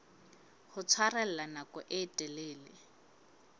ho tshwarella nako e telele